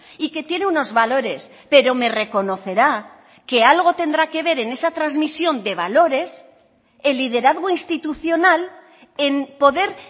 y que tiene unos valores pero me reconocerá que algo tendrá que ver en esa transmisión de valores el liderazgo institucional en poder